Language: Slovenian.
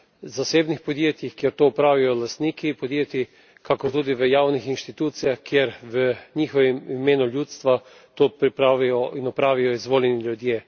zasebnih podjetjih, kjer to opravijo lastniki podjetij, kakor tudi v javnih institucijah, kjer v njihovem imenu ljudstva to pripravijo in opravijo izvoljeni ljudje.